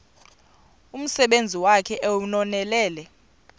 umsebenzi wakhe ewunonelele